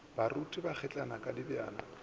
baruti ba kgitlana ka dijabana